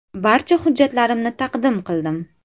Barcha hujjatlarimni taqdim qildim.